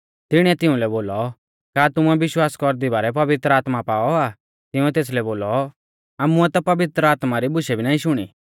तिणीऐ तिउंलै बोलौ का तुमुऐ विश्वास कौरदी बारै पवित्र आत्मा पाऔ आ तिंउऐ तेसलै बोलौ आमुऐ ता पवित्र आत्मा री बुशै भी नाईं शुणी